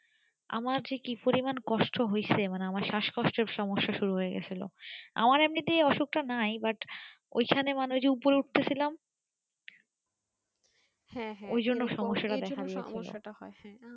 আমার যে কি পরিমানে কষ্ট হয়েছে মানে আমার শাসকষ্টের সমস্যা শুরু হয়ে গেছিলো আমার এমনিতেই অসুখটা নাই but ওই খানে মানে ওই যে ওপরে উঠতেছিলাম ওই জন্য সমস্যা তা দেখা দিয়েছিলো